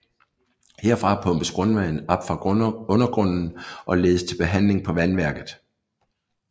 Herfra pumpes grundvand op fra undergrunden og ledes til behandling på vandværket